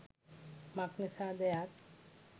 මක් නිසාද යත්